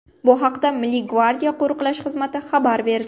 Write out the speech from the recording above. Bu haqda Milliy gvardiya Qo‘riqlash xizmati xabar berdi .